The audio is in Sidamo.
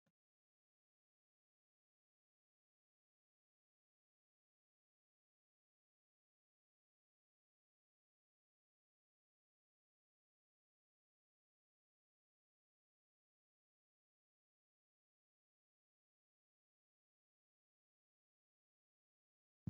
Mannu heeshote woyi lubote noo geesha loosira hasiisanotta ikitanna konne darga Manu gide loosironu dancha gede Ike biife leelanoha ikanna konni gudi qooxeesira addi addi haqe leeltano.